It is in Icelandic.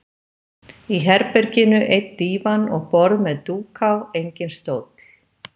Í herberginu einn dívan og borð með dúk á, enginn stóll.